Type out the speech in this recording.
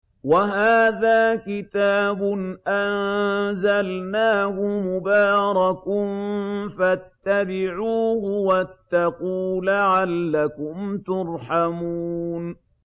وَهَٰذَا كِتَابٌ أَنزَلْنَاهُ مُبَارَكٌ فَاتَّبِعُوهُ وَاتَّقُوا لَعَلَّكُمْ تُرْحَمُونَ